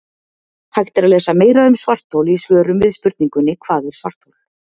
Hægt er að lesa meira um svarthol í svörum við spurningunum Hvað er svarthol?